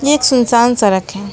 ये एक सुनसान सड़क है।